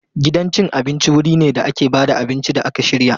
Gidan cin abinci wuri ne da ake ba da abinci da aka shirya.